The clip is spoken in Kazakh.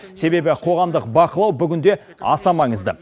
себебі қоғамдық бақылау бүгінде аса маңызды